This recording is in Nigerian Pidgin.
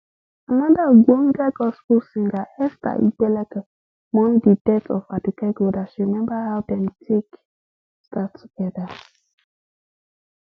anoda ogbonge gospel singer esther igbekele mourn di death of aduke gold as she remember how dem take start togeda